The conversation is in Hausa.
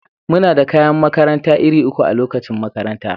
Muna da kayan makaranta iri uku a lokacin makaranta.